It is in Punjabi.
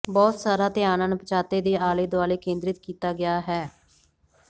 ਬਹੁਤ ਸਾਰਾ ਧਿਆਨ ਅਣਪਛਾਤੇ ਦੇ ਆਲੇ ਦੁਆਲੇ ਕੇਂਦਰਿਤ ਕੀਤਾ ਗਿਆ ਹੈ